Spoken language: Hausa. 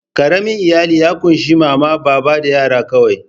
Ƙaramin iyali ya ƙunshi mama, baba da yara kawai.